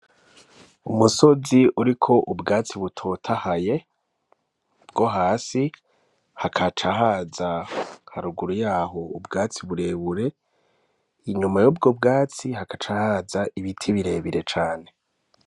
Umusozi uriko ubwatsi butotahaye bwo hasi hakaca haza haruguru yaho ubwatsi burebure inyuma yubwo bwatsi hagaca haza ibiti birebire cane.